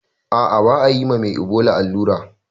Ah ah ba ayi mame ibola allura